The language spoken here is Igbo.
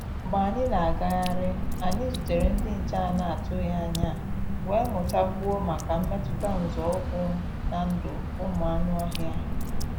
Mgbé ànyị́ ná-àgáhárí, ànyị́ zútèré ndí nché à nà-àtụghí ányá, wéé mụ́tá kwúó máká mmétụ́tá nzọ́ ụ́kwụ́ ná ndụ́ ụ́mụ́ ànụ́-ọ́hịá.